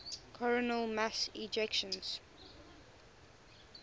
coronal mass ejections